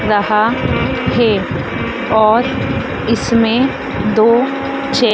रहा है और इस में दो छे--